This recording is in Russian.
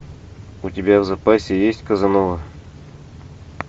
у тебя в запасе есть казанова